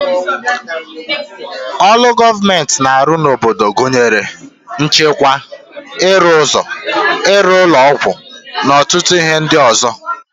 Olu gọọmenti na arụ n'obodo gụnyere nchekwa, ịrụ ụzọ, ịrụ ụlọ ọgwụ na ọtụtụ ihe ndị ọzọ ga